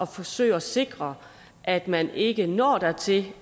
forsøge at sikre at man ikke når dertil